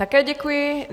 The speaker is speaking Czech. Také děkuji.